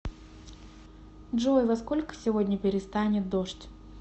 джой во сколько сегодня перестанет дождь